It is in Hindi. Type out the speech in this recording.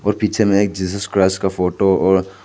और पीछे में एक जीसस क्राइस्ट का फोटो और--